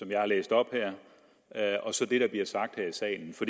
jeg har læst op her og så det der bliver sagt her i salen for